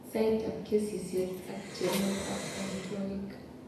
Saitab kesisiet ak chobetab amitwogiik.